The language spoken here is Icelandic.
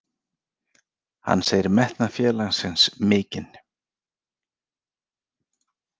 Hann segir metnað félagsins mikinn.